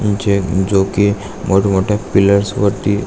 चे जो की मोठ मोठ्या पिलर्स वरती--